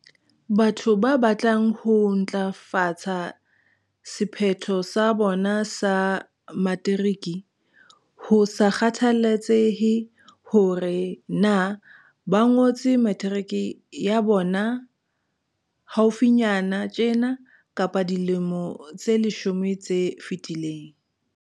Batho ba batlang ho ntlafatsa sephetho sa bona sa materiki, ho sa kgathaletsehe hore na ba ngotse materiki ya bona haufinyana tjena kapa dilemo tse leshome tse fetileng.